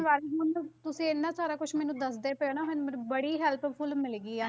ਬਾਰੇ ਹੁਣ ਤੁ~ ਤੁਸੀਂ ਇੰਨਾ ਸਾਰਾ ਕੁਛ ਮੈਨੂੰ ਦੱਸਦੇ ਪਏ ਹੋ ਨਾ ਮੈਨੂੰ ਮੈਨੂੰ ਬੜੀ helpful ਮਿਲ ਗਈ ਆ।